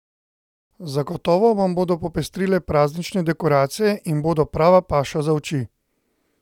Zagotovo vam bodo popestrile praznične dekoracije in bodo prava paša za oči!